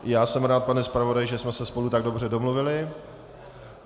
Já jsem rád, pane zpravodaji, že jsme se spolu tak dobře domluvili.